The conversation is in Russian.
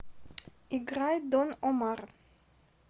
играй дон омар